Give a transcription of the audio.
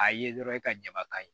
A ye dɔrɔn e ka jabakan ye